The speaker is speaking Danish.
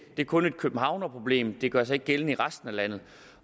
er kun et københavnerproblem det gør sig ikke gældende i resten af landet